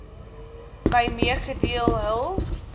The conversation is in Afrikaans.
my meegedeel hul